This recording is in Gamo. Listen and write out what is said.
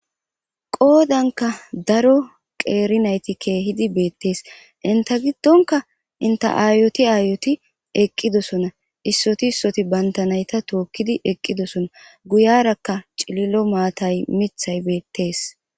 qoodanka daro qeeri nayti keehidi beettees inta giddonka inte aayoti aayoti eqqidosona issoti issoti banta nayta tookkidi eqqidosona guyarakka cililo maatay mithay beettees